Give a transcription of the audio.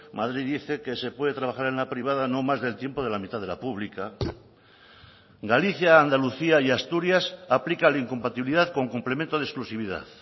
madrid dice que se puede trabajar en la privada no más del tiempo de la mitad de la pública galicia andalucía y asturias aplica la incompatibilidad con complemento de exclusividad